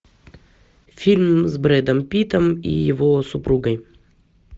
фильм с брэдом питтом и его супругой